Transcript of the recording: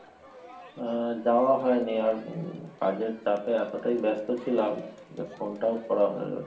আহ যাওয়া হয়নি আর উম কাজের চাপে এতটাই ব্যাস্ত ছিলাম যে phone টাও করা হয়ে ওঠেনি